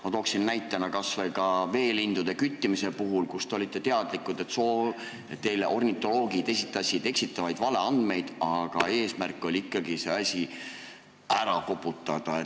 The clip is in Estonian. Ma toon näitena kas või veelindude küttimise, kui te olite teadlikud, et ornitoloogid esitasid teile eksitavaid andmeid, aga eesmärk oli ikkagi see asi ära koputada.